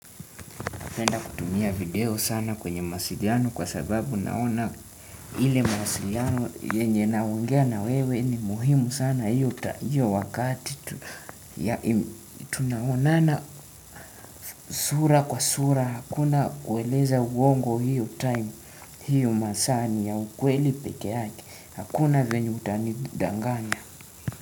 Napenda kutumia video sana kwenye mawasiliano kwa sababu naona ile mawasiliano yenye naongea na wewe ni muhimu sana. Hiyo wakati tunaonana sura kwa sura. Hakuna kueleza uongo hiyo time, hiyo masaa ni ya ukweli peke yake. Hakuna venye utanidanganya.